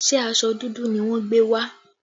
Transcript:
Ṣé aṣọ dúdú ni wọ́n gbé wá?